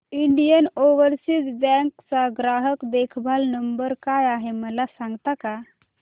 Indian Overseas Bank चा ग्राहक देखभाल नंबर काय आहे मला सांगता का